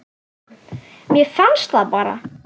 Mér fannst það bara.